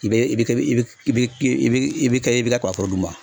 I bɛ i bɛ i bɛ i bɛ i bɛ i bɛ kɛ i bɛ kɛ kabaforo d'u ma.